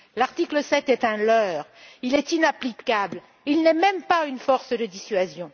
L'article 7 est un leurre, il est inapplicable, il n'est même pas une force de dissuasion.